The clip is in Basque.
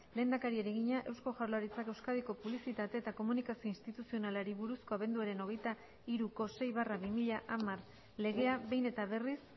lehendakariari egina eusko jaurlaritzak euskadiko publizitate eta komunikazio instituzionalari buruzko abenduaren hogeita hiruko sei barra bi mila hamar legea behin eta berriz